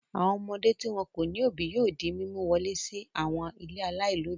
Àwọn ọmọdé tí wọn kò ní òbí yóò di mímú wọlé sí àwọn ilé aláìlóòbí.